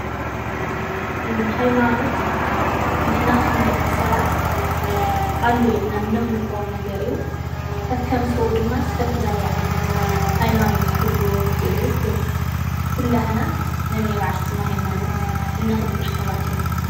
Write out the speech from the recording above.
ሃይማኖት ንሕና ከምደቂ ሰባት ኣሎ ኢልና እነምልኮ ነገር እዩ፡፡ ከከም ሰቡ ድማ ዝተፈላለየ ዓይነት ሃይማኖት ክህልዎ ይኽእል እዩ:: ግን ኩላትና ነናይ ባዕልና ሃይማኖት እነኽብር ሰባት ኢና፡፡